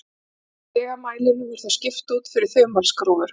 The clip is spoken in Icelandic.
Lygamælinum var þá skipt út fyrir þumalskrúfur.